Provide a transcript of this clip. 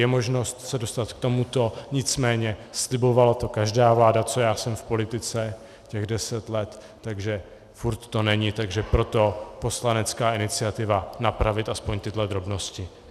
Je možnost se dostat k tomuto, nicméně slibovala to každá vláda, co já jsem v politice, těch deset let, ale furt to není, takže proto poslanecká iniciativa napravit aspoň tyto drobnosti.